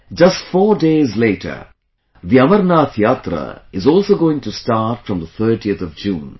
Just 4 days later, the Amarnath Yatra is also going to start from the 30th of June